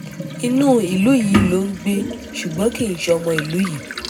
inú ìlú yìí ló ń gbé ṣùgbọ́n kì í ṣọmọ ìlú yìí